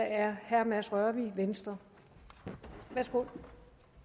er herre mads rørvig fra venstre værsgo